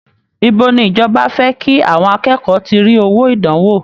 Ìbo ni ìjọba fẹ́ kí àwọn akẹ́kọ̀ọ́ ti rí owó ìdánwò!